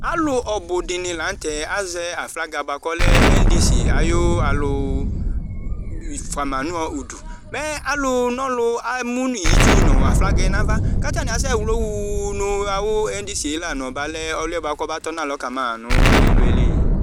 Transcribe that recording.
alò ɔbu di ni lantɛ azɛ aflaga boa k'ɔlɛ endisi ayi alò fua ma no udu mɛ alò n'ɔlu emu nu itsu no aflaga yɛ n'ava k'atani asɛ wlɔ wuuu no awu endisie la n'ɔba lɛ ɔlò yɛ boa k'ɔba tɔ ka ma no t'ilu yɛ li.